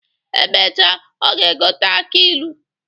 Emecha, ọ ga-egote aki ilu.